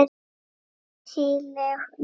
Siðleg lygi.